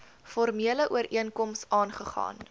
formele ooreenkoms aagegaan